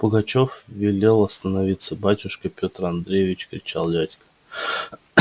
пугачёв велел остановиться батюшка пётр андреевич кричал дядька